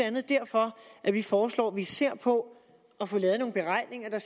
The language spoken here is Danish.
andet derfor at vi foreslår at vi ser på at få lavet nogle beregninger der